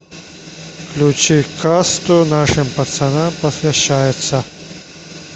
включи касту нашим пацанам посвящается